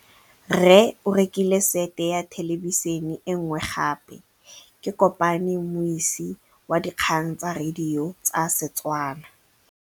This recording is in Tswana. Rre o rekile sete ya thêlêbišênê e nngwe gape. Ke kopane mmuisi w dikgang tsa radio tsa Setswana.